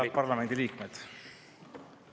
Head parlamendi liikmed!